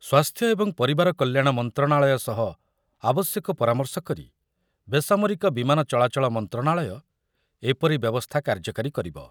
ସ୍ୱାସ୍ଥ୍ୟ ଏବଂ ପରିବାର କଲ୍ୟାଣ ମନ୍ତ୍ରଣାଳୟ ସହ ଆବଶ୍ୟକ ପରାମର୍ଶ କରି ବେସାମରିକ ବିମାନ ଚଳାଚଳ ମନ୍ତ୍ରଣାଳୟ ଏପରି ବ୍ୟବସ୍ଥା କାର୍ଯ୍ୟକାରୀ କରିବ।